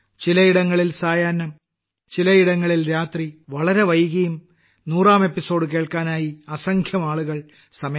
ചിലയിടങ്ങളിൽ സായാഹ്നം ചിലയിടങ്ങളിൽ രാത്രി വളരെ വൈകിയും 100ാം അദ്ധ്യായം കേൾക്കാനായി അസംഖ്യം ആളുകൾ സമയം കണ്ടെത്തി